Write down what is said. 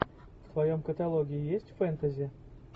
в твоем каталоге есть фэнтези